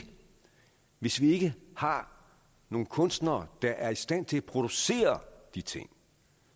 hvis vi ikke har nogle kunstnere der er i stand til at producere de ting